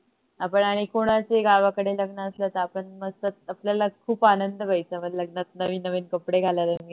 आपण आणि कोणाचही गावाकडे लग्न असल तर आपण मस्त आपल्याला खूप आनंद व्हायचा लग्नात नवीन नवीन कपडे घालायला